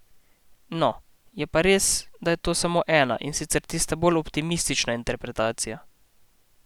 No, je pa res, da je to samo ena, in sicer tista bolj optimistična interpretacija.